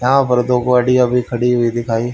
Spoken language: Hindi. यहां पर दो गाड़ी अभी खड़ी हुई दिखाई--